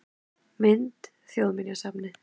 Mynd: Þjóðminjasafnið